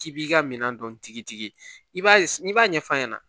K'i b'i ka minɛn dɔntigitigi i b'a ye n'i b'a ɲɛf'a ɲɛna